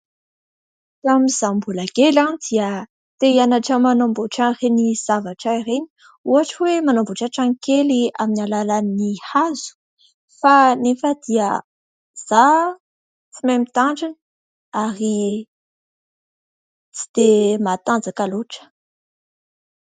Tamin'izaho mbola kely dia te hianatra manamboatra an'ireny zavatra ireny. Ohatra hoe manamboatra trano kely amin'ny alalan'ny hazo kanefa izaho tsy mahay mitandrina ary tsy dia matanjaka loatra.